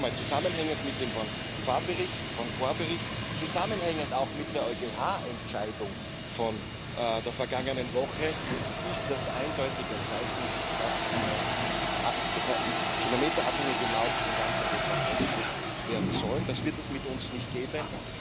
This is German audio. Noch einmal Zusammenhängend mit dem Bonnefoy Bericht, zusammenhängend auch mit der EuGH Entscheidung von der vergangenen Woche ist das eindeutig ein Zeichen, dass eine kilometerabhängige Maut in ganz Europa eingeführt werden soll, und das wird es mit uns nicht geben.